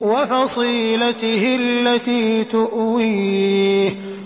وَفَصِيلَتِهِ الَّتِي تُؤْوِيهِ